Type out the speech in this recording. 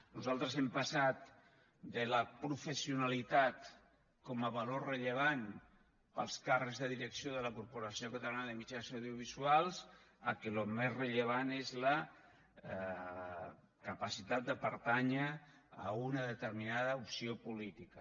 nosaltres hem passat de la professionalitat com a valor rellevant pels càrrecs de direcció de la corporació catalana de mitjans audiovisuals al fet que el més rellevant és la capacitat de pertànyer a una determinada opció política